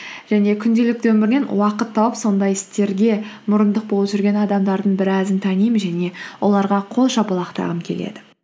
және күнделікті өмірінен уақыт тауып сондай істерге мұрындық болып жүрген адамдардың біразын танимын және оларға қол шапалақтағым келеді